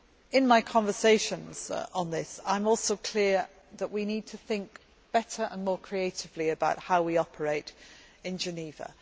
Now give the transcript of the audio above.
In my conversations on this, I am also clear on the need to think better and more creatively about how we operate in Geneva.